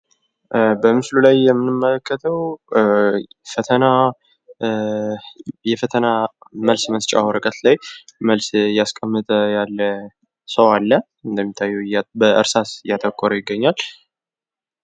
በምስሉ ላይ የምንመለከተው የፈተና መልስ መስጫ ወረቀት ላይ መልስ እያስቀመጠ ያለ ሰው አለ ፤ እንደምታዩት በእርሳስ እያጠቆረ ይገኛል።